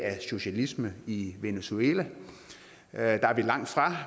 socialisme i i venezuela der er vi langtfra